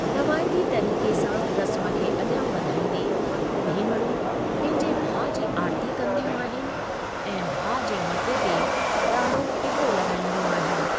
रवायती तरीक़े सां रस्म खे अगि॒यां वधाईंदे, भेनरूं पंहिंजे भाउ जी आरती कंदियूं आहिनि ऐं भाउ जे मथे ते गा॒ढ़ो टिको लगा॒ईंदियूं आहिनि।